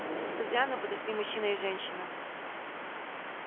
к хозяину подошли мужчина и женщина